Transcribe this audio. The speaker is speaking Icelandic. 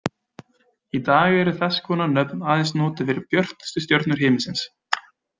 Í dag eru þess konar nöfn aðeins notuð fyrir björtustu stjörnur himinsins.